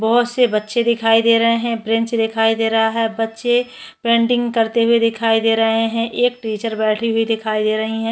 बहोत से बच्चे दिखाई दे रहे है ब्रेंच दिखाई दे रहा है बच्चे पेंटिंग करते हुए दिखाई दे रहे है एक टीचर बैठी हुई दिखाई दे रहीं है।